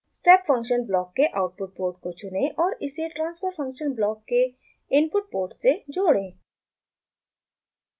step function block के output port को चुनें और इसे transfer function block के इनपुट पोर्ट से जोड़ें